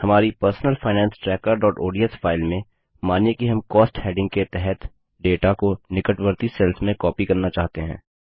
हमारी personal finance trackerओडीएस file में मानिए कि हम कॉस्ट हैडिंग के तहत डेटा को निकटवर्ती सेल्स में कॉपी करना चाहते हैं